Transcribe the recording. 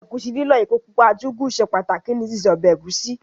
Ẹ̀gúsí lílọ̀, epo pupa àti Ugwu ṣe pàtàkì ní síse ọbẹ̀ ẹ̀gúsí.